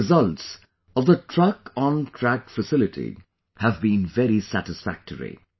The results of the TruckonTrack facility have been very satisfactory